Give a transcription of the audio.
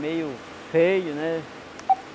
Meio feio, né?